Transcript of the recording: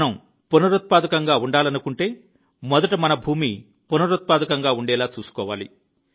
మనం పునరుత్పాదకంగా ఉండాలనుకుంటే మొదట మన భూమి పునరుత్పాదకంగా ఉండేలా చూసుకోవాలి